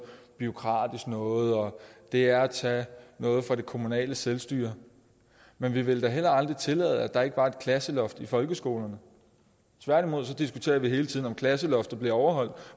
bureaukratisk noget og det er at tage noget fra det kommunale selvstyre men vi ville da heller aldrig tillade at der ikke var et klasseloft i folkeskolerne tværtimod diskuterer vi hele tiden om klasseloftet bliver overholdt